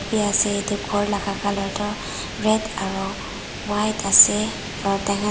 bi ase edu khor laka colour toh red aro white ase aro taikhan.